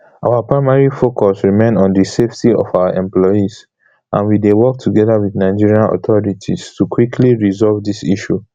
our primary focus remain on di safety of our employees and we dey work togeda wit nigerian authorities to quickly resolve dis issue